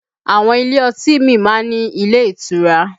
Àwọn ilé ọtí míì máa ń ní ilé ìtura